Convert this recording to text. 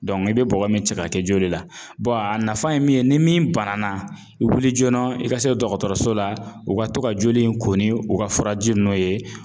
i bɛ bɔgɔ min cɛ ka kɛ joli la a nafa ye min ye ni min banana i wuli joona i ka se dɔgɔtɔrɔso la u ka to ka joli in ko ni u ka furaji ninnu ye